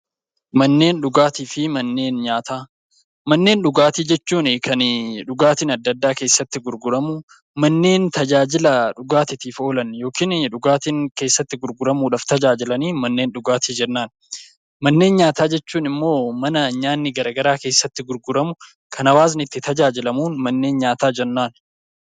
Manneen dhugaatii fi manneen nyaataa Manneen dhugaatii jechuun kan dhugaatiin addaa addaa keessatti gurguramu , manneen tajaajila dhugaatiif oolan , dhugaatiin keessatti dhugamuuf tajaajilan manneen dhugaatii jennaan. Manneen nyaataa jechuun immoo kan nyaanni garaagaraa keessatti gurguramu , kan hawaasni itti tajaajilamu manneen nyaataa jennaan.